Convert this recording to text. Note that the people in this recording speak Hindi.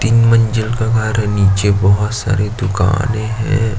तीन मंजिल का घर है नीचे बोहोत सारी दुकानें हैं।